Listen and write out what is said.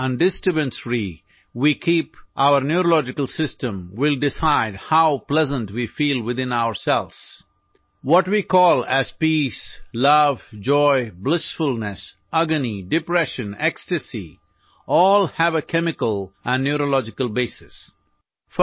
ہم اعصابی نظام کو کس حد تک چوکس اور خلل سے پاک رکھتے ہیں یہ فیصلہ کرے گا کہ ہم اپنے اندر کتنا خوشگوار محسوس کرتے ہیں؟ جسے ہم امن، محبت، خوشی، مسرت، اذیت، افسردگی، جوش و خروش کے نام سے پکارتے ہیں، ان سب کی ایک کیمیائی اور اعصابی بنیاد ہے